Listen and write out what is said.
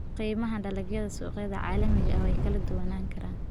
Qiimaha dalagyada suuqyada caalamiga ah way kala duwanaan karaan.